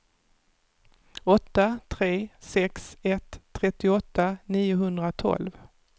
åtta tre sex ett trettioåtta niohundratolv